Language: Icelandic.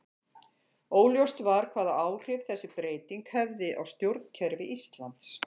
Óljóst var hvaða áhrif þessi breyting hefði á stjórnkerfi Íslands.